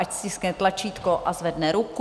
Ať stiskne tlačítko a zvedne ruku.